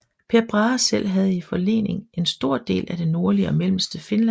Per Brahe selv havde i forlening en stor del af det nordlige og mellemste Finland